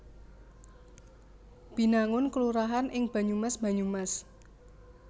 Binangun kelurahan ing Banyumas Banyumas